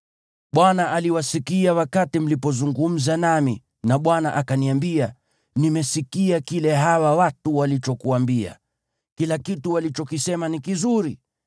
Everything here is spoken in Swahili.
Bwana aliwasikia wakati mlipozungumza nami, na Bwana akaniambia, “Nimesikia kile hawa watu walichokuambia. Kila kitu walichokisema ni kizuri.